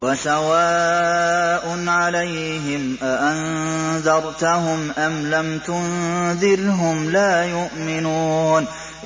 وَسَوَاءٌ عَلَيْهِمْ أَأَنذَرْتَهُمْ أَمْ لَمْ تُنذِرْهُمْ لَا يُؤْمِنُونَ